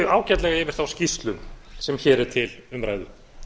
ágætlega yfir þá skýrslu sem hér er til umræðu